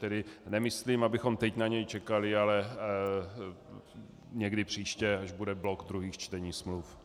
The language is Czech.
Tedy nemyslím, abychom teď na něj čekali, ale někdy příště, až bude blok druhých čtení smluv.